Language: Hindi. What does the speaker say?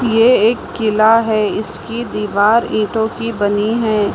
ये एक किला है इसकी दीवार ईटों की बनी है।